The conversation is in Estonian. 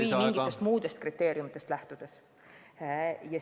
Või lähtutakse mingitest muudest kriteeriumitest.